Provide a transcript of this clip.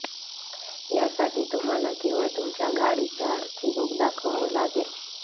यासाठी तुम्हाला केवळ तुमच्या गाडीचं आरसी बूक दाखवावं लागेल